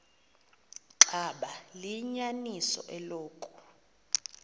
xaba liyinyaniso eloku